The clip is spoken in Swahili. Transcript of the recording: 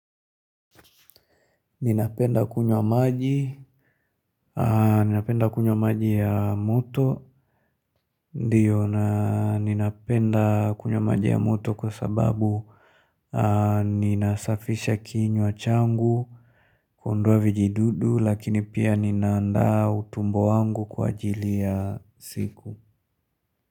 Ninapenda kunywa maji ya moto, ndiyo na ninapenda kunywa maji ya moto kwa sababu ninasafisha kinywa changu kuondoa vijidudu lakini pia ninaandaa utumbo wangu kwa ajili ya siku.